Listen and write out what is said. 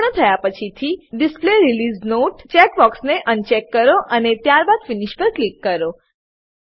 પૂર્ણ થયા પછીથી display release note display release note ચેકબોક્સને અનચેક કરો અને ત્યારબાદ ફિનિશ પર ક્લિક કરો